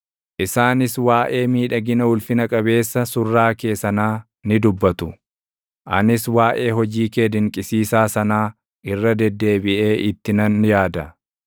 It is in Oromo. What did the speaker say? Isaanis waaʼee miidhagina ulfina qabeessa // surraa kee sanaa ni dubbatu; anis waaʼee hojii kee dinqisiisaa sanaa irra deddeebiʼee // itti nan yaada.